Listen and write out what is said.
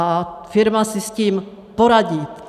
A firma si s tím poradí.